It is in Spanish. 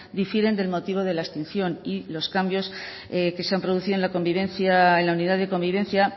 difieren del motivo de la extinción y los cambios que se han producido en la convivencia en la unidad de convivencia